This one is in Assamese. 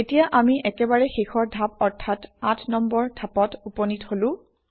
এতিয়া আমি একেবাৰে শেষৰ ধাপ অৰ্থাৎ আঠ নম্বৰ ধাপত উপনীত হলো